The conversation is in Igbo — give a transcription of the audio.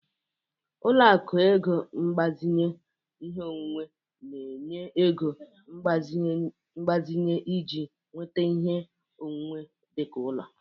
Ọlụakụ ego mgbazinye ihe onwunwe na-enye ego mgbazinye iji nweta ihe onwunwe dị ka ụlọ.